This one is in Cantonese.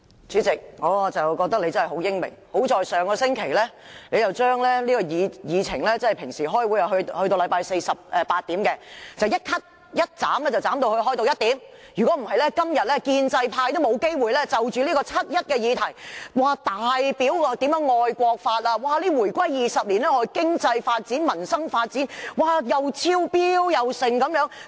主席，我覺得你實在很英明，幸好你上星期改變了會議時間，果斷地把星期四會議的結束時間由慣常的晚上8時，縮短至下午1時，否則建制派議員今天便沒有機會就七一議題大表愛國之心，暢談回歸20年來經濟發展、民生發展如何超越預期云云。